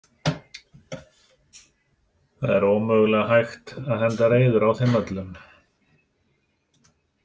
Það er ómögulega hægt að henda reiður á þeim öllum.